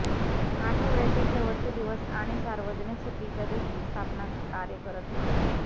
आठवड्याचे शेवटचे दिवस आणि सार्वजनिक सुट्टीच्या दिवशी स्थापना कार्य करत नाही